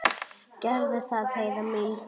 Gerðu það, Heiða mín.